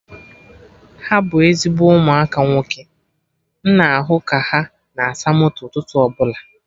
Ha bụ ezigbo ụmụaka nwoke, m na ahụ ka ha na asa moto ụtụtụ ọbụla